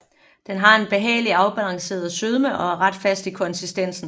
Den har en behagelig afbalanceret sødme og er ret fast i konsistensen